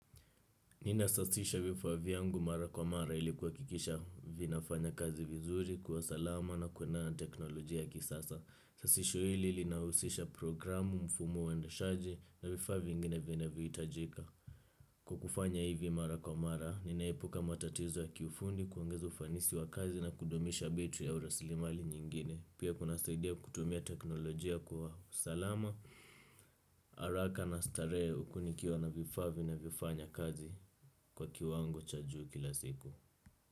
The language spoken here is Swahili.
Nina sasisha vifa vyangu mara kwa mara ilikuhakikisha vinafanya kazi vizuri kwa usalama na kwenda na teknolojia ya kisasa. Sasisho hili linausisha programu mfumo endeshaji na vifaa vingine vinavyo itajika. Kwa kufanya hivi mara kwa mara, ninaepuka matatizo ya kifundi kuongeza ufanisi wa kazi na kudumisha betri au rasilimali nyingine. Pia kunasaidia kutumia teknolojia kuwa usalama, haraka na starehe huku nikiwa na vifaa vinavyo nafanya kazi. Kwa kiwango cha juu kila siku.